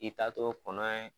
I ta t'o kɔnɔ ye